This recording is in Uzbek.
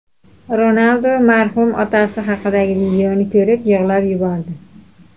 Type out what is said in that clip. Ronaldu marhum otasi haqidagi videoni ko‘rib yig‘lab yubordi .